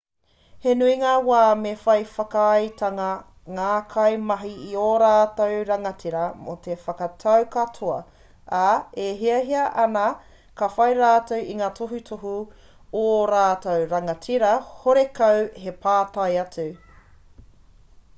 he nui ngā wā me whai whakaaetanga ngā kaimahi i ō rātou rangatira mō ngā whakatau katoa ā e hiahiatia ana ka whai rātou i ngā tohutohu o ō rātou rangatira horekau te pātai atu